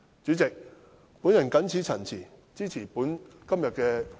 主席，我謹此陳辭，支持今天這項議案。